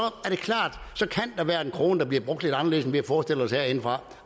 er være en krone der bliver brugt lidt anderledes end vi har forestillet os herindefra